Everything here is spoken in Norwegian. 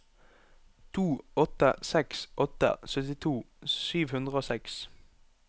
to åtte seks åtte syttito sju hundre og seks